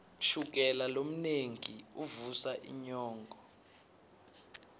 shukela lomnengi uvusa inyongo